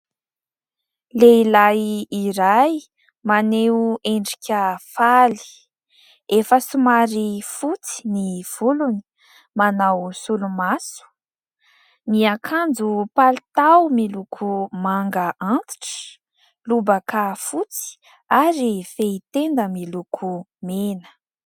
Lehilahy maneho endrika faly. Efa somary fotsy ny volony . Manao solomaso, miakanjo palitao miloko manga antitra, lobaka fotsy ary fehitenda miloko mena.